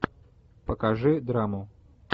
покажи драму